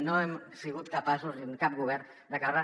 no hem sigut capaços cap govern d’acabar la